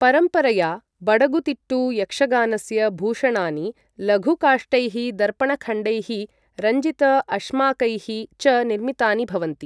परम्परया बडगुतिट्टु यक्षगानस्य भूषणानि लघुकाष्ठैः, दर्पणखण्डैः, रञ्जित अश्माकैः च निर्मितानि भवन्ति।